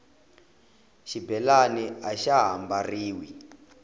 xibelani axa ha mbariwi